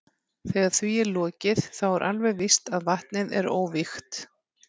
Þegar því er lokið þá er alveg víst að vatnið er óvígt.